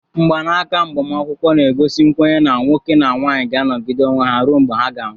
Mgbanaka agbamakwụkwọ na-egosi nkwenye na nwoke na nwanyị ga anogidere onwe ha rue mgbe ha ga anwụ.